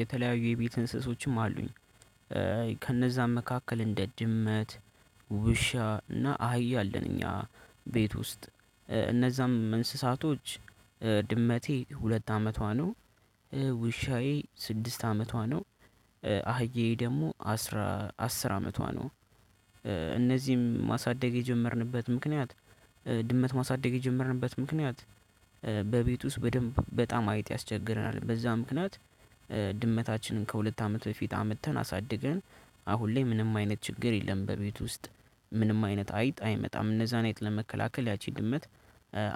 የተለያዩ የቤት እንስሶችም አሉኝ ከነዛም መካከል እንደ ድመት ውሻ እና አህያ አለን። እኛ ቤት ውስጥ እነዛም እንስሳቶች ድመቴ ሁለት አመቷ ነው። ውሻዬ ስድስት አመቷ ነው። አህዬ ደግሞ አስራ አስር አመቷ ነው። እነዚህም ማሳደግ የጀመርንበት ምክንያት ድመት ማሳደግ የጀመርንበት ምክንያት በቤት ውስጥ በደንብ በጣም አይጥ ያስቸግረናል በዛ ምክንያት። ከሁለት አመት በፊት አምጥተን አሳድገን አሁን ላይ ምንም አይነት ችግር የለም። በቤት ውስጥ ምንም አይነት አይጥ አይመጣም እነዛን አይጥ ለመከላከል ያቺ ድመት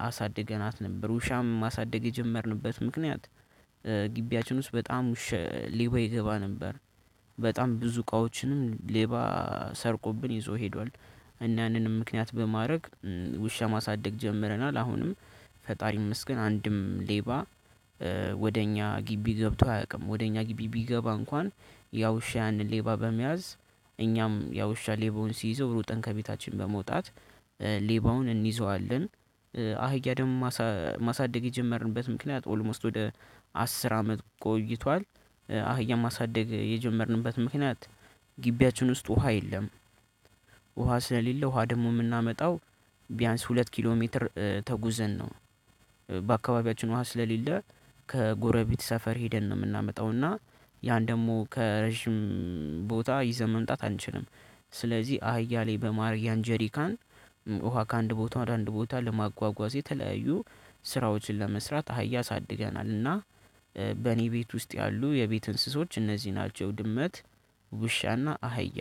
አሳድገናት ነበር። ውሻም ማሳደግ የጀመርንበት ምክንያት ግቢያችን ውስጥ በጣም ውሻ ሌባ ይገባ ነበር። በጣም ብዙ እቃዎችንም ሌባ ሰርቆብን ይዞ ሄዷል። እና ያንንም ምክንያት በማድረግ ውሻ ማሳደግ ጀምረናል አሁንም ፈጣሪ ይመስገን አንድም ሌባ ወደ እኛ ግቢ ገብቶ አያውቅም። ወደ እኛ ግቢ ቢገባ እንኳን ያ ውሻ ያንን ሌባ በመያዝ እኛም ያ ውሻ ሌባውን ሲይዘው ሮጠን ከቤታችን በመውጣት ሌባውን እንይዘዋለን። አህያ ደግሞ ማሳደግ የጀመርንበት ምክንያት ኦልሞስት ወደ አስር አመት ቆይቷል። አህያ ማሳደግ የጀመርንበት ምክንያት ውስጥ ውሃ የለም። ውሃ ስለሌለው ውሃ ደግሞ የምናመጣው ቢያንስ ሁለት ኪሎ ሜትር ተጉዘን ነው። በአካባቢያችን ውሃ ስለሌለ ከጎረቤት ሰፈር ሄደን ነው የምናመጣው እና ያን ደግሞ ከረጅም ቦታ ይዘን መምጣት አንችልም። ስለዚህ አህያ ላይ በማድረግ ያን ጀሪካን ውሃ ከአንድ ቦታ ወደ አንድ ቦታ ለማጓጓዝ የተለያዩ ስራዎችን ለመስራት አህያ አሳድገናል። እና በእኔ ቤት ውስጥ ያሉ የቤት እንስሶች እነዚህ ናቸው ድመት ውሻና አህያ።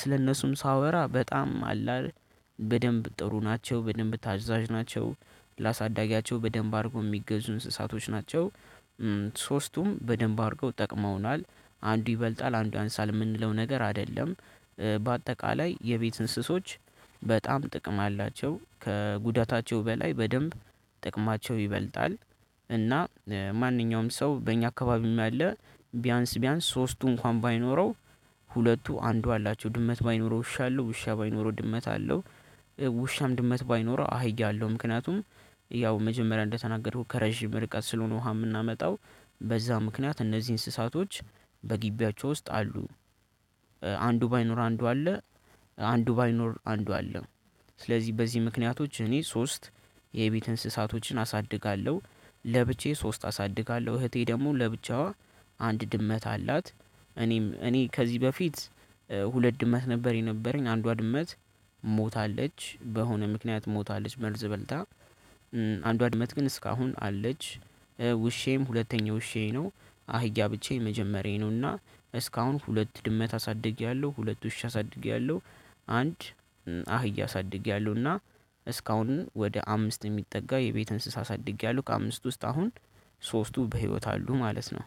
ስለነሱም ሳወራ በጣም አለ አይደል በደንብ ጥሩ ናቸው በደንብ ታዛዥ ናቸው ላሳዳጊያቸው በደንብ አድርጎ የሚገዙ እንስሳቶች ናቸው። ሶስቱም በደንብ አድርገው ጠቅመውናል አንዱ ይበልጣል አንዱ ያንሳል የምንለው ነገር አይደለም። በአጠቃላይ የቤት እንስሶች በጣም ጥቅም አላቸው ከጉዳታቸው በላይ በደንብ ጥቅማቸው ይበልጣል። እና ማንኛውም ሰው በእኛ አካባቢም ያለ ቢያንስ ቢያንስ ሶስቱ እንኳን ባይኖረው ሁለቱ አንዱ አላቸው ድመት ባይኖረው ውሻ አለው ውሻ ባይኖረው ድመት አለው። ውሻም ድመት ባይኖረው አህያ አለው ምክንያቱም ያው መጀመሪያ እንደተናገርኩ ከረጅም ርቀት ስለሆነ ውሃ የምናመጣው በዛ ምክንያት እነዚህ እንስሳቶች በግቢያቸው ውስጥ አሉ። አንዱ ባይኖር አንዱ አለ አንዱ ባይኖር አንዱ አለ ስለዚህ በዚህ ምክንያቶች እኔ ሶስት የቤት እንስሳቶችን አሳድጋለሁ። ለብቻዬ ሶስት አሳድጋለሁ እህቴ ደግሞ ለብቻዋ አንድ ድመት አላት። እኔም እኔ ከዚህ በፊት ሁለት ድመት ነበር የነበረኝ አንዷ ድመት ሞታለች በሆነ ምክንያት ሞታለች መርዝ በልታ አንዷ ድመት ግን እስካሁን አለች። ውሻዬም ሁለተኛ ውሻዬ ነው አህያ ብቻ የመጀመሪያዬ ነውና እስካሁን ሁለት ድመት አሳድጌያለሁ ሁለት ውሻ አሳድጌያለሁ። አንድ አህያ አሳድጌያለሁና እስካሁን ወደ አምስት የሚጠጋ የቤት እንስሳ አሳድጌያለሁ። ከአምስት ውስጥ አሁን ሶስቱ በህይወት አሉ ማለት ነው